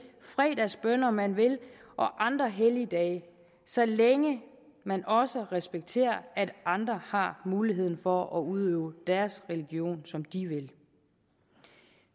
fredagsbønner man vil og andre helligdage så længe man også respekterer at andre har muligheden for at udøve deres religion som de vil